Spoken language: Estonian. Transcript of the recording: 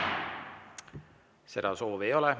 Seda soovi ei ole.